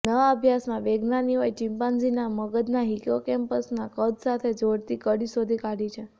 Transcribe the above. નવા અભ્યાસમાં વિજ્ઞાનીઓએ ચિમ્પાન્ઝીનાં મગજના હિપોકેમ્પસનાં કદ સાથે જોડતી કડી શોધી કાઢી છે